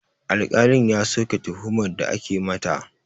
Alƙalin ya soke tuhumar da ake mata